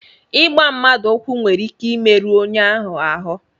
Ịgba mmadụ ụkwụ nwere ike imerụ onye ahụ ahụ